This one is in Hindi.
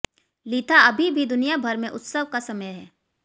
लिथा अभी भी दुनिया भर में उत्सव का समय है